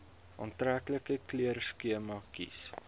aantreklike kleurskema kies